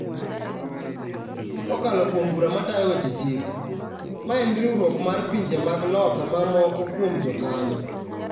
Kokalo kuom Bura Matayo Weche Chik, ma en riwruok mar pinje mag loka ma moko kuom jokanyo.